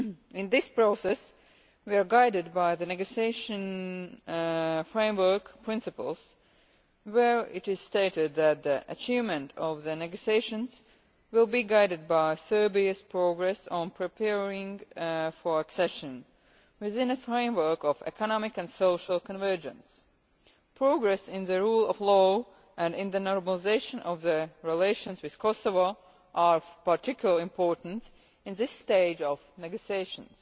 In this process, we are guided by the negotiation framework principles, in which it is stated that the achievement of the negotiations will be guided by Serbia's progress on preparing for accession, within a framework of economic and social convergence. Progress on the rule of law and on the normalisation of relations with Kosovo is of particular importance at this stage of negotiations.